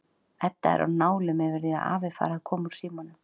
Edda er á nálum yfir því að afi fari að koma úr símanum.